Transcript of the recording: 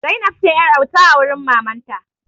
Zainab ce yar'auta a wurin mamanta.